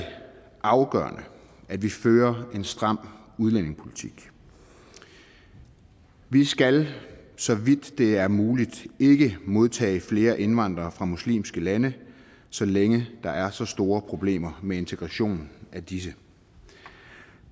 afgørende at vi fører en stram udlændingepolitik vi skal så vidt det er muligt ikke modtage flere indvandrere fra muslimske lande så længe der er så store problemer med integrationen af disse